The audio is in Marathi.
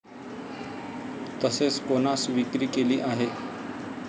तसेच कोणास विक्री केली आहे?